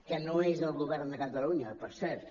que no és del govern de catalunya per cert